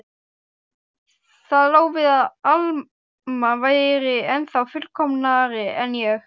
Það lá við að Alma væri ennþá fullkomnari en ég.